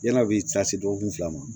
Yann'a bɛ taa se dɔgɔkun fila ma